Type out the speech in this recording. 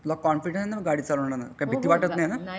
तुला कॉन्फिडन्ट आहे ना गाडी चाळण्या मध्ये काही भीती वाटत नाही ना?